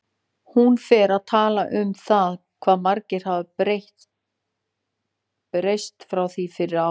Hún fer að tala um það hvað margt hafi breyst frá því fyrir ári.